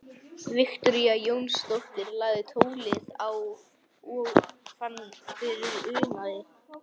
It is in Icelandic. Viktoría Jónsdóttir lagði tólið á og fann fyrir unaði.